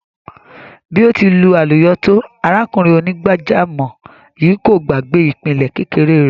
Bí ó ti lu àlùyọ tó, arákùnrin onígbàjámọ̀ yìí kò gbàgbé ìpìlẹ̀ kékeré rẹ̀.